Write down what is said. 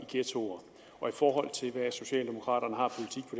forhold til hvad socialdemokraterne har